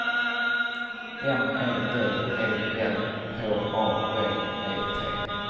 M E D E L H A V E T